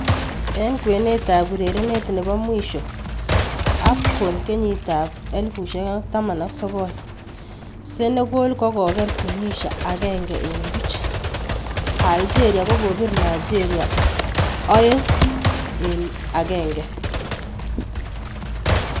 Eng kwenet ab urerenet nebo mwisho AFCON 2019: Senegal kokoker Tunisia 1-0, Algeria kokopir Nigeria 2-1.